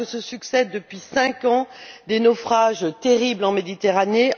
Alors que se succèdent depuis cinq ans des naufrages terribles en Méditerranée.